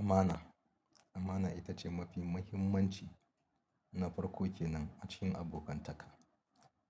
Amana, amana ita ce mafi mahimmanci na farko kenan a cikin abokantaka.